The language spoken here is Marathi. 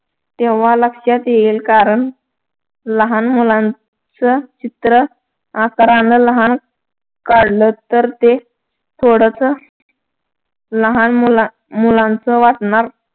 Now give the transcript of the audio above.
तेव्हा लक्षात येईल कारण लहान मुलांचं चित्र आकारान लहान काढलं तर ते थोडसं लहान मुला मुलांच वाटणार.